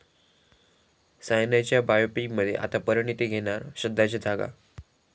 सायनाच्या बायोपिकमध्ये आता परिणीती घेणार श्रद्धाची जागा